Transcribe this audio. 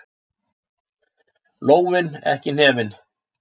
Lófinn, ekki hnefinn.